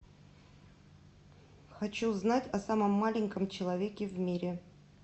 хочу знать о самом маленьком человеке в мире